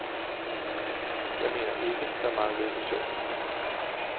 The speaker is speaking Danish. Jeg mener ikke, der manglede visioner.